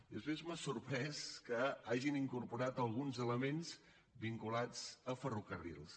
i després m’ha sorprès que hagin incorporat alguns elements vinculats a ferrocarrils